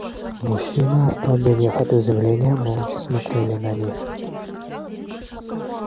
мужчины остолбенев от изумления молча смотрели на них